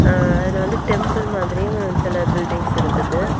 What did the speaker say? ன் அதுல வந்து டெம்பிள் மாதிரியும் சில பில்டிங்ஸ் இருக்குது.